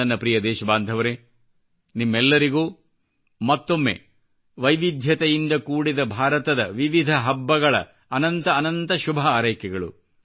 ನನ್ನ ಪ್ರಿಯ ದೇಶಬಾಂಧವರೇ ನಿಮ್ಮೆಲ್ಲರಿಗೂ ಮತ್ತೊಮ್ಮೆ ವೈವಿಧ್ಯತೆಯಿಂದ ಕೂಡಿದ ಭಾರತದ ವಿವಿಧ ಹಬ್ಬಗಳ ಅನಂತ ಅನಂತ ಶುಭಹಾರೈಕೆಗಳು